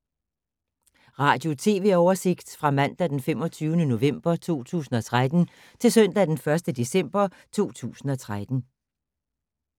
Radio/TV oversigt fra mandag d. 25. november 2013 til søndag d. 1. december 2013